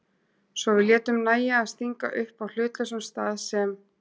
Svo við létum nægja að stinga upp á hlutlausum stað sem